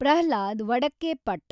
Pralhad Vadakkepat